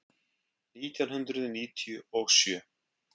Nítján hundruð níutíu og sjö